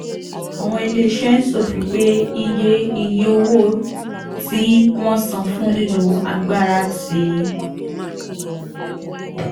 àwọn ilé-iṣẹ́ ń ṣọ̀fọ̀ pé iye iye owó tí wọ́n ń san fún lílo agbára ti